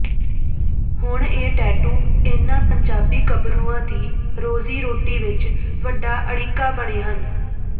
ਹੁਣ ਇਹ ਟੈਟੂ ਇਨ੍ਹਾਂ ਪੰਜਾਬੀ ਗੱਭਰੂਆਂ ਦੀ ਰੋਜ਼ੀ ਰੋਟੀ ਵਿਚ ਵੱਡਾ ਅੜਿੱਕਾ ਬਣੇ ਹਨ